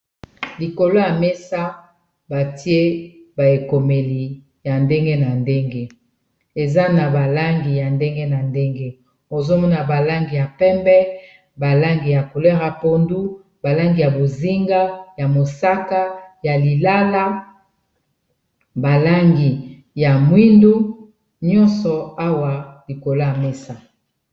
Likolo ya mesa batie ba ekomeli ya ndenge na ndenge eza na balangi ya ndenge na ndenge ozomona ba langi ya pembe, ba langi ya culer ya pondu, ba langi ya bozinga, ya mosaka, ya lilala, ba langi ya mwindu, nyonso awa likolo ya mesa.